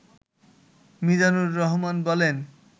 মিজানুর রহমান বলেন